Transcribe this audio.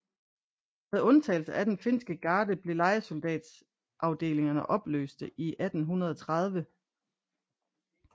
Med undtagelse af den finske garde blev lejesoldatafdelingerne opløste i 1830